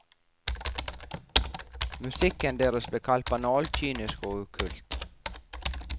Musikken deres ble kalt banal, kynisk og okkult.